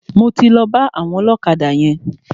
Mo ti lọ bá àwọn ọlọ́kadà yẹn.